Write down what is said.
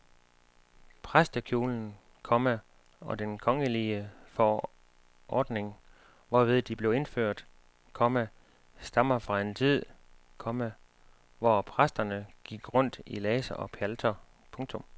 Præstekjolen, komma og den kongelige forordning hvorved de blev indført, komma stammer fra en tid, komma hvor præsterne gik rundt i laser og pjalter. punktum